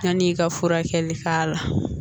Yanni i ka furakɛli k'a la